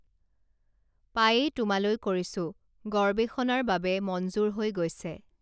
পায়েই তোমালৈ কৰিছোঁ গৰৱেষণাৰ বাবে মঞ্জুৰ হৈ গৈছে